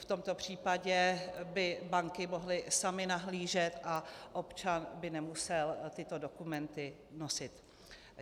V tomto případě by banky mohly samy nahlížet a občan by nemusel tyto dokumenty nosit.